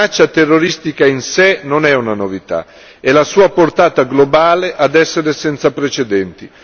La minaccia terroristica in sé non è una novità, è la sua portata globale ad essere senza precedenti.